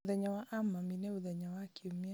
mũthenya wa a mami nĩ mũthenya wa kiumia